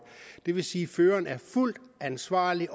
det vil sige at føreren er fuldt ansvarlig